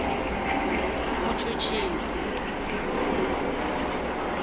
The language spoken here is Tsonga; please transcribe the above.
muchuchisi